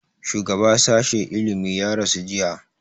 shugaba sashi ilimi ya rasu jiya